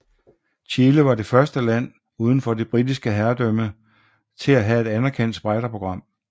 Chile var det første land udenfor det Britiske herredømme til at have et anerkendt spejderprogram